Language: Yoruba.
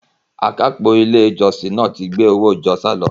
Akápò ilé ìjọsìn náà ti gbé owó ìjọ sálọ.